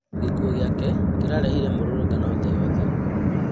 Gĩkuo gĩake kĩarehire mũrũrũngano thĩ yothe